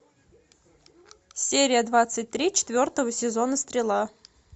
серия двадцать три четвертого сезона стрела